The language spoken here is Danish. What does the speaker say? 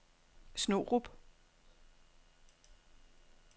Snorup